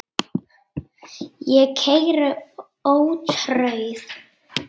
Ég keyri ótrauð